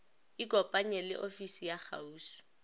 ikopanye le ofisi ya kgauswi